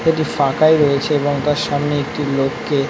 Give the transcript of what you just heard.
এটি ফাঁকাই রয়েছে সামনে এবং তার সামনে একটি লোককে--